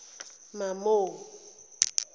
mamo